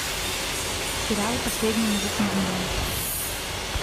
сериал последний мужик на земле